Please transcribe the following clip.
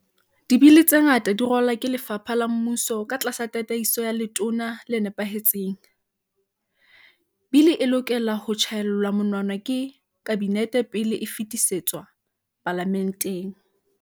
Dibili tse ngata di ralwa ke lefapha la mmuso ka tlasa tataiso ya letona le nepahe tseng. Bili e lokela ho tjhae llwa monwana ke Kabinete pele e fetisetswa Palame nteng.